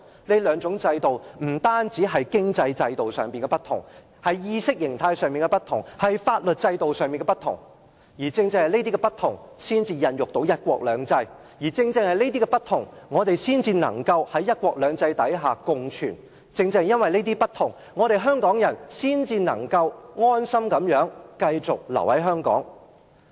這兩套制度不單在經濟制度上不同，在意識形態及法律制度上也不同，而正正是這些不同，才孕育到"一國兩制"；正正是這些不同，我們才能夠在"一國兩制"下共存；正正因為這些不同，香港人才能夠安心繼續留在香港。